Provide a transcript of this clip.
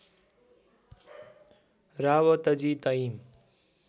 Rawatji time